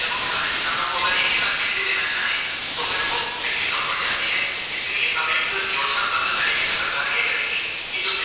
बिजली कम पद जाती है इस लिए एक योजना बद्ध तरीके से सरकार ये करेगी की जो दी